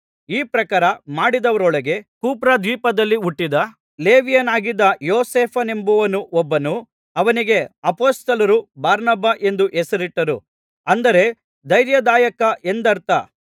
ಈ ಪ್ರಕಾರ ಮಾಡಿದವರೊಳಗೆ ಕುಪ್ರದ್ವೀಪದಲ್ಲಿ ಹುಟ್ಟಿದ ಲೇವಿಯನಾಗಿದ್ದ ಯೋಸೇಫನೆಂಬವನು ಒಬ್ಬನು ಅವನಿಗೆ ಅಪೊಸ್ತಲರು ಬಾರ್ನಬ ಎಂದು ಹೆಸರಿಟ್ಟಿದ್ದರು ಅಂದರೆ ಧೈರ್ಯದಾಯಕ ಎಂದರ್ಥ